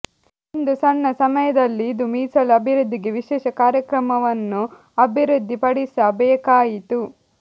ಒಂದು ಸಣ್ಣ ಸಮಯದಲ್ಲಿ ಇದು ಮೀಸಲು ಅಭಿವೃದ್ಧಿಗೆ ವಿಶೇಷ ಕಾರ್ಯಕ್ರಮವನ್ನು ಅಭಿವೃದ್ಧಿಪಡಿಸಬೇಕಾಯಿತು